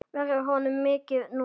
Verður honum vikið núna?